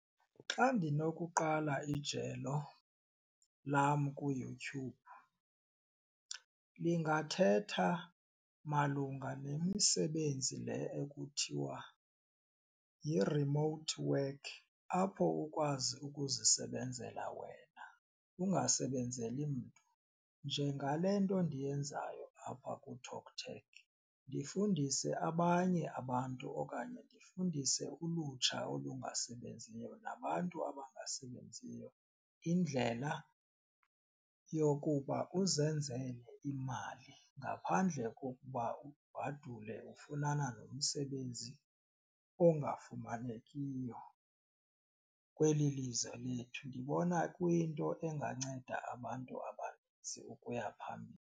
Xa ndinokuqala ijelo lam kuYouTube lingathetha malunga nemisebenzi le ekuthiwa yi-remote work apho ukwazi ukuzisebenzela wena angasebenzeli mntu njengale nto ndiyenzayo apha kuTalk Tag ndifundise abanye abantu okanye ndifundise ulutsha olungasebenziyo nabantu abangasebenziyo indlela yokuba uzenzele imali ngaphandle kokuba ubhadule ufunana nomsebenzi ongafumanekiyo kweli lizwe lethu. Ndibona kuyinto enganceda abantu abaninzi ukuya phambili.